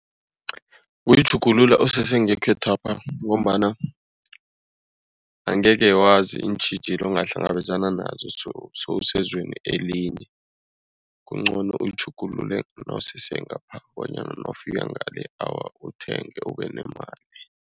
Uyitjhugulula usese ngekhethwapha ngombana angeke wazi iintjhijilo ongahlangabezana nazo sewusezweni elinye. Kungcono uyitjhugulule nawusese ngapha bonyana nawufika ngale, awa uthenge ube nemali.